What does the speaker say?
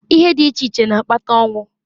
Ihe di iche iche n'akpata onwu.